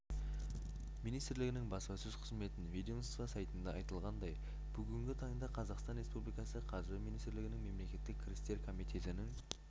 министрлігінің баспасөз қызметінен ведомство сайтында айтылғандай бүгінгі таңда қазақстан республикасы қаржы министрлігінің мемлекеттік кірістер комитетінің